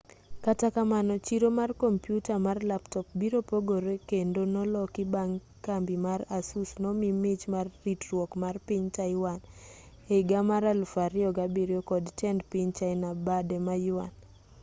kata kamano chiro mar kompiuta mar laptop biro pogore kendo noloki bang' kambi mar asus nomii mich mar ritruok mar piny taiwan ehiga mar 2007 kod tend piny china bade ma yuan